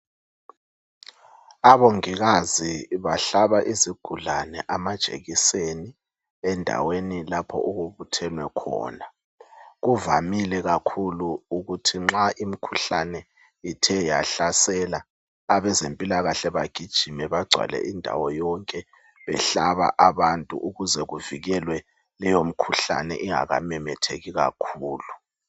Abongikazi bahlaba izigulane amajekiseni endaweni lapho okubuthenwe khona , kuvamile kakhulu ukuthi nxa imkhuhlane ithe yahlasela , abezempilakahle bagijime bagcwale indawo yonke behlaba abantu ukuze kuvikelwe leyo mkhuhlane ingakamemetheki kakhulu